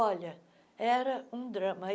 Olha, era um drama. aí